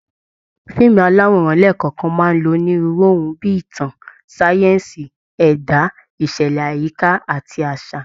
Fíìmù aláwòrán lẹ́kọ̀ọ̀kan máa lo onírúurú ohun bí i ìtàn, sáyẹ́ǹsì, ẹ̀dá, ìṣẹ̀lẹ̀ àyíká, àti àṣà